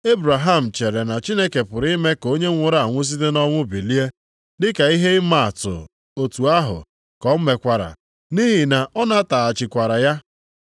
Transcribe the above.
Ebraham chere na Chineke pụrụ ime ka onye nwụrụ anwụ site nʼọnwụ bilie, dịka ihe ịma atụ otu ahụ ka o mekwara, nʼihi na ọ nataghachikwara ya.